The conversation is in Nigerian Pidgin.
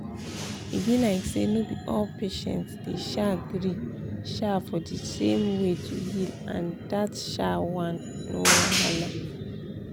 e be like say no be all patients dey um gree um for di same way to heal and dat um one no wahala.